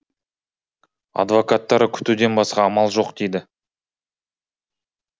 адвокаттары күтуден басқа амал жоқ дейді